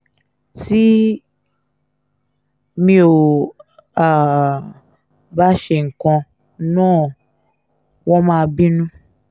tí mi ò um bá ṣe nǹkan náà wọ́n máa bínú